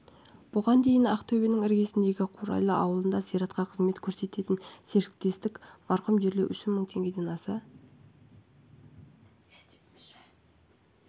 бұған дейін ақтөбенің іргесіндегі қурайлы ауылында зиратқа қызмет көрсететін серіктестік марқұмды жерлеу үшін мың теңгеден аса